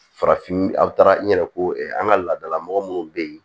Farafin aw taara n yɛrɛ ko an ka laadalamɔgɔ minnu bɛ yen